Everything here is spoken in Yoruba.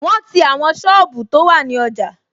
Wọn ti àwọn sọ́ọ̀bù tó wà ní ọjà